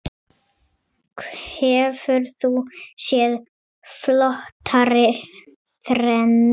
Hefur þú séð flottari þrennu?